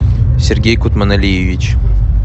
сергей кутманалиевич